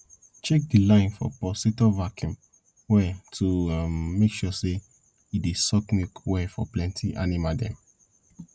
check de line for pulsator vacuum well to um make sure say e dey suck milk well for plenty animal dem